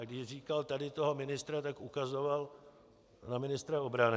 A když říkal tady toho ministra, tak ukazoval na ministra obrany.